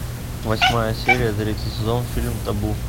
восьмая серия третий сезон фильм табу